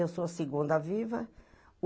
Eu sou a segunda viva.